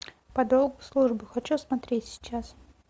по долгу службы хочу смотреть сейчас